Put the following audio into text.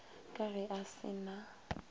ka ge a se na